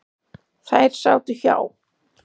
Þær sátu hjá.